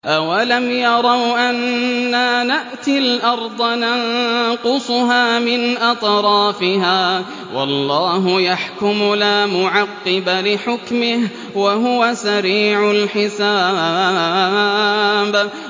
أَوَلَمْ يَرَوْا أَنَّا نَأْتِي الْأَرْضَ نَنقُصُهَا مِنْ أَطْرَافِهَا ۚ وَاللَّهُ يَحْكُمُ لَا مُعَقِّبَ لِحُكْمِهِ ۚ وَهُوَ سَرِيعُ الْحِسَابِ